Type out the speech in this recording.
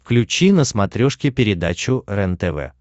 включи на смотрешке передачу рентв